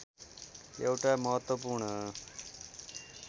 एउटा महत्त्वपूर्ण